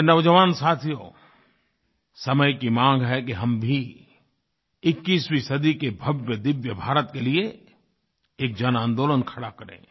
मेरे नौजवान साथियो समय की माँग है कि हम भी 21वीं सदी के भव्यदिव्य भारत के लिए एक जनआन्दोलन खड़ा करें